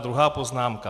A druhá poznámka.